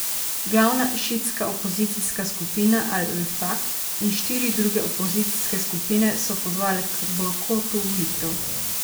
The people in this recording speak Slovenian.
Glavna šiitska opozicijska skupina Al Vefak in štiri druge opozicijske skupine so pozvale k bojkotu volitev.